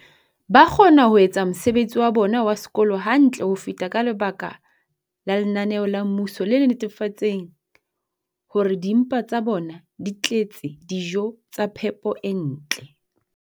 ba kgona ho etsa mosebetsi wa bona wa sekolo hantle ho feta ka lebaka la lenaneo la mmuso le netefatsang hore dimpa tsa bona di tletse dijo tsa phepo e ntle.